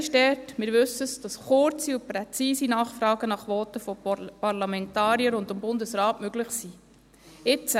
Speziell ist dort – wir wissen es –, dass kurze und präzise Nachfragen nach Voten von Parlamentariern und auch Bundesräten möglich sind.